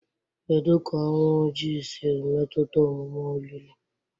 Kedu ka Ọnwụ Ojii siri metụta omume olili?